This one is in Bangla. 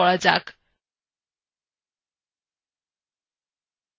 normalএর মধ্যে flat বিকল্প নির্বাচন করুন